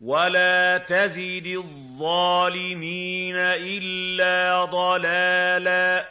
وَلَا تَزِدِ الظَّالِمِينَ إِلَّا ضَلَالًا